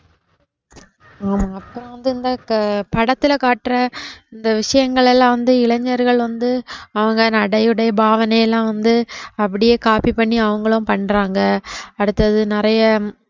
ஆமா அப்புறம் வந்து இந்த படத்துல காட்டுற இந்த விஷயங்கள் எல்லாம் வந்து இளைஞர்கள் வந்து அவஙக நடை, உடை, பாவனை எல்லாம் வந்து அப்படியே copy பண்ணி அவங்களும் பண்றாங்க அடுத்தது நிறைய